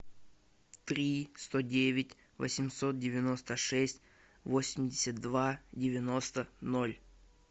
три сто девять восемьсот девяносто шесть восемьдесят два девяносто ноль